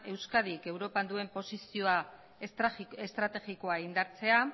euskadik europan duen posizioa estrategikoa indartzea